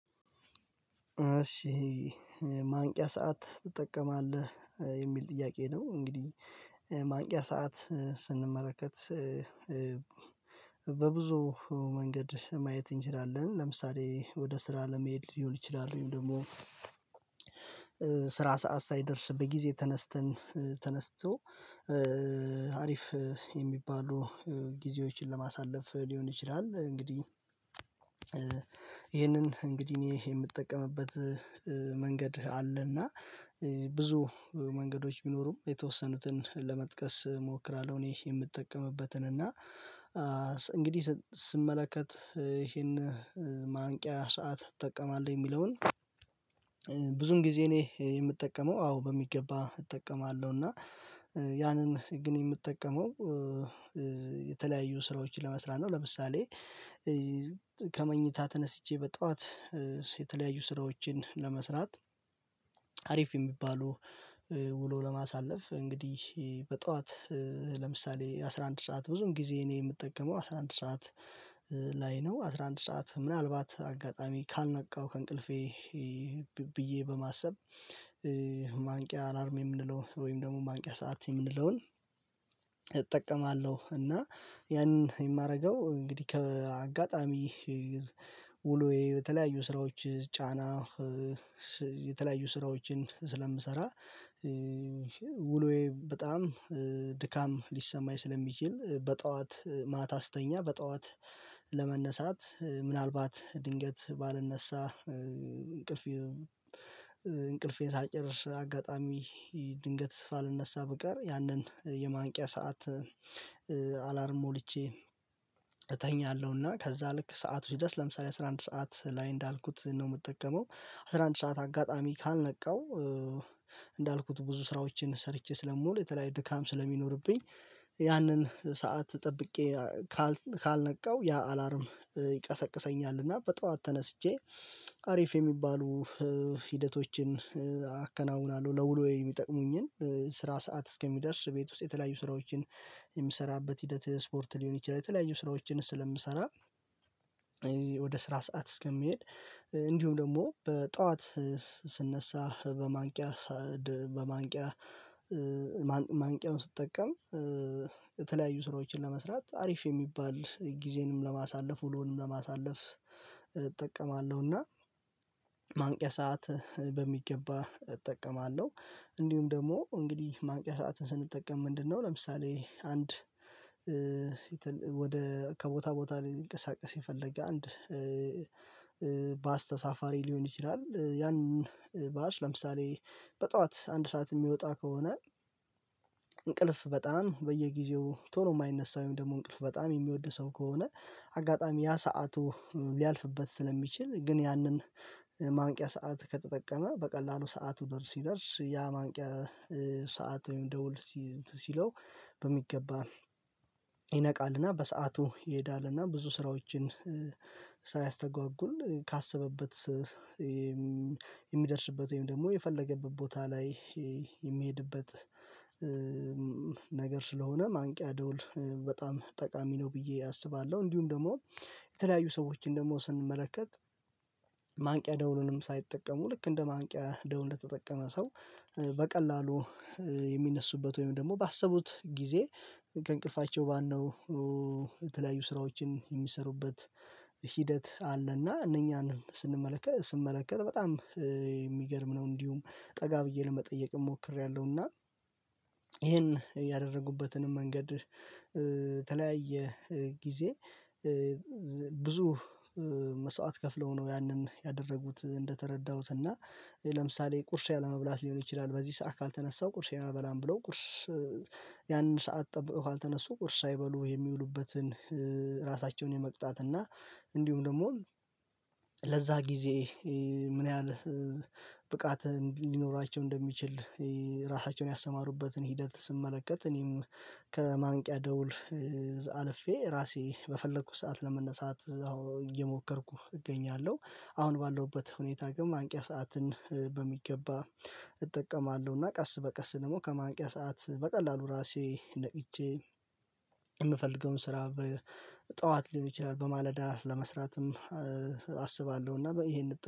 እሺ ማንቂያ ሰዓት ትጠቀማለህ የሚል ጥያቄ ነው? እንግዲህ ማንቂያ ሰዓት ስንመለከት በብዙ መንገድ ማየት እንችላለን። ለምሳሌ ወደ ስራ ለመሄድ ሊሆን ይችላል። ወይም ደግሞ ስራ ሰዓት ሳይደርስ በጊዜ ተነስተን ተነስቶ አሪፍ የሚባሉ ጊዜዎችን ለማሳለፍ ሊሆን ይችላል። እንግዲህ ይሄንን እንግዲህ እኔ የምጠቀምበት መንገድ አለና ብዙ መንገዶች ቢኖሩም የተወሰኑትን ለመጥቀስ እሞክራለሁ። እኔ የምጠቀምበትን እና እንግዲህ ስመለከት ይሄን ማንቂያ ሰዓት ትጠቀማለህ የሚለውን ብዙን ጊዜ እኔ የምጠቀመው አዎ በሚገባ እጠቀማለሁ። እና ያንን ግን የምጠቀመው የተለያዩ ስራዎችን ለመስራት ነው። ለምሳሌ ከመኝታ ተነስቼ በጠዋት የተለያዩ ስራዎችን ለመስራት አሪፍ የሚባሉ ውሎ ለማሳለፍ እንግዲህ በጠዋት ለምሳሌ አስራ አንድ ሰዓት ብዙውን ጊዜ እኔ የምጠቀመው አስራ አንድ ሰዓት ላይ ነው። አስራ አንድ ሰዓት ምናልባት አጋጣሚ ካልነቃው ከእንቅልፌ ብዬ በማሰብ ማንቂያ አላርም የምንለው ወይም ደግሞ ማንቂያ ሰዓት የምንለውን እጠቀማለሁ። እና ያንን የማረገው እንግዲህ ከአጋጣሚ ውሎዬ የተለያዩ ስራዎች ጫና የተለያዩ ስራዎችን ስለምሰራ ውሎዬ በጣም ድካም ሊሰማኝ ስለሚችል በጠዋት ማታ ስተኛ በጠዋት ለመነሳት ምናልባት ድንገት ባልነሳ እንቅልፌ እንቅልፌን ሳልጨርስ አጋጣሚ ድንገት ስልነሳ ብቀር ያንን የማንቂያ ሰዓት አላርም ሞልቼ እተኛለሁ። እና ከዛ ልክ ሰዓቱ ሲደርስ ለምሳሌ አስራ አንድ ሰዓት ላይ እንዳልኩት ነው። የምጠቀመው አስራ አንድ ሰዓት አጋጣሚ ካልነቃው እንዳልኩት ብዙ ስራዎችን ሰርቼ ስለምውል የተለያየ ድካም ስለሚኖርብኝ ያንን ሰዓት ጠብቄ ካልነቃው ያ አላርም ይቀሰቅሰኛል። እና በጠዋት ተነስቼ አሪፍ የሚባሉ ሂደቶችን አከናውናለሁ ለውሎዬ የሚጠቅሙኝን ስራ ሰዓት እስከሚደርስ ቤት ውስጥ የተለያዩ ስራዎችን የምሰራበት ሂደት ስፖርት ሊሆን ይችላል። የተለያዩ ስራዎችን ስለምሰራ ወደ ስራ ሰዓት እስከምሄድ እንዲሁም ደግሞ በጠዋት ስነሳ በማንቂያ በማንቂያ ማንቂያውን ስጠቀም የተለያዩ ስራዎችን ለመስራት አሪፍ የሚባል ጊዜንም ለማሳለፍ ውሎንም ለማሳለፍ እጠቀማለሁና ማንቂያ ሰዓት በሚገባ እጠቀማለሁ። እንዲሁም ደግሞ እንግዲህ ማንቂያ ሰዓትን ስንጠቀም ምንድነው? ለምሳሌ አንድ ወደ ከቦታ ቦታ ሊንቀሳቀስ የፈለገ አንድ ባስ ተሳፋሪ ሊሆን ይችላል። ያን ባስ ለምሳሌ በጠዋት አንድ ሰዓት የሚወጣ ከሆነ እንቅልፍ በጣም በየጊዜው ቶሎ የማይነሳ ወይም ደግሞ እንቅልፍ በጣም የሚወድ ሰው ከሆነ አጋጣሚ ያ ሰዓቱ ሊያልፍበት ስለሚችል ግን ያንን ማንቂያ ሰዓት ከተጠቀመ በቀላሉ ሰዓቱ ደርስ ሲደርስ ያ ማንቂያ ሰዓት ደውል እንትን ሲለው በሚገባ ይነቃልና በሰአቱ ይሄዳልና ብዙ ስራዎችን ሳያስተጓጉል ካሰበበት የሚደርስበት ወይም ደግሞ የፈለገበት ቦታ ላይ የሚሄድበት ነገር ስለሆነ ማንቂያ ደውል በጣም ጠቃሚ ነው። ብዬ አስባለሁ እንዲሁም ደግሞ የተለያዩ ሰዎችን ደግሞ ስንመለከት ማንቂያ ደውሉንም ሳይጠቀሙ ልክ እንደ ማንቂያ ደውል እንደተጠቀመ ሰው በቀላሉ የሚነሱበት ወይም ደግሞ ባሰቡት ጊዜ ከእንቅልፋቸው ባነው የተለያዩ ስራዎችን የሚሰሩበት ሂደት አለና እነኛን ስንመለከት ስመለከት በጣም የሚገርም ነው። እንዲሁም ጠጋ ብዬ ለመጠየቅም ሞክሬያለሁና ይሄን ያደረጉበትንም መንገድ ተለያየ ጊዜ ብዙ መስዋዕት ከፍለው ነው ያንን ያደረጉት እንደተረዳሁት እና ለምሳሌ ቁርስ ያለመብላት ሊሆን ይችላል። በዚህ ሰዓት ካልተነሳው ቁርሴን አልበላም ብለው ቁርስ ያንን ሰዓት ጠብቀው ካልተነሱ ቁርስ ሳይበሉ የሚውሉበትን ራሳቸውን የመቅጣት እና እንዲሁም ደግሞ ለዛ ጊዜ ምን ያህል ብቃት ሊኖራቸው እንደሚችል ራሳቸውን ያሰማሩበትን ሂደት ስመለከት እኔም ከማንቂያ ደውል አልፌ ራሴ በፈለኩት ሰዓት ለመነሳት አሁን እየሞከርኩህ እገኛለሁ። አሁን ባለሁበት ሁኔታ ግን ማንቂያ ሰዓትን በሚገባ እጠቀማለሁና። ቀስ በቀስ ደግሞ ከማንቂያ ሰዓት በቀላሉ ራሴ ነቅቼ የምፈልገውን ስራ በጠዋት ሊሆን ይችላል በማለዳ ለመስራትም አስባለሁ። እና ይሄን